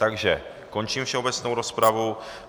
Takže končím všeobecnou rozpravu.